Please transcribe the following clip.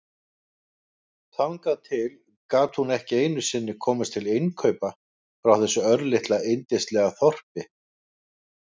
Þangað til gat hún ekki einu sinni komist til innkaupa frá þessu örlitla yndislega þorpi.